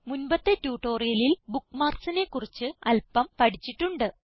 മുൻപത്തെ ട്യൂട്ടോറിയലിൽ bookmarksനെ കുറിച്ച് അല്പം പഠിച്ചിട്ടുണ്ട്